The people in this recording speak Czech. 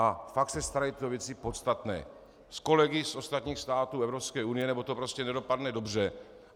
A fakt se starejte o věci podstatné s kolegy z ostatních států Evropské unie, nebo to prostě nedopadne dobře.